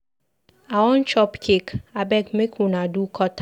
I wan chop cake, abeg make una do cut am.